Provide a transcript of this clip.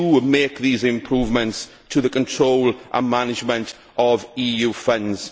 make these improvements to the control and management of EU funds.